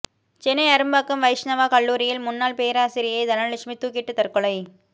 சென்னை அரும்பாக்கம் வைஷ்ணவா கல்லூரியில் முன்னாள் பேராசிரியை தனலட்சுமி தூக்கிட்டு தற்கொலை